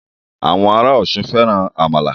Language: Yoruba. Àwọn ará Ọ̀ṣun fẹ́ran àmàlà